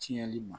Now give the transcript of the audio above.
Tiɲɛni ma